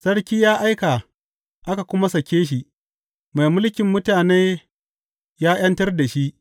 Sarki ya aika aka kuma sake shi, mai mulkin mutane ya ’yantar da shi.